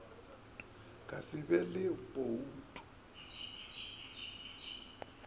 ka se be le boutu